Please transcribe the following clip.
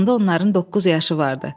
Onda onların doqquz yaşı vardı.